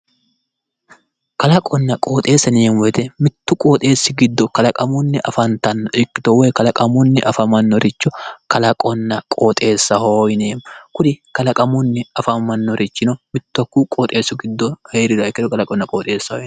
Kalaqonna qooxeessa yineemo woyiite mittu qooxxeessi giddo kalaqamunni afantanno ikkito woyi kalaqamunni afamannoricho kalaqonna qooxeessaho yineemo kuri kalaqamunni afamannorichino mittu hakkuyi qooxessi giddo heeriha ikkiro kalaqonna qooxeessaho yineemmo.